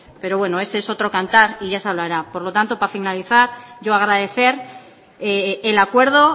pero bueno eso es otro cantar y ya se hablará por lo tanto para finalizar yo agradecer el acuerdo